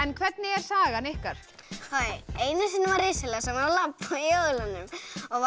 hvernig er sagan ykkar einu sinni var risaeðla sem var